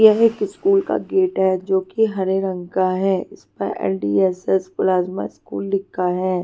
यह एक स्कूल का गेट है जो कि हरे रंग का है इस पर एल_डी_एस_एस प्लाज्मा स्कूल लिखा है.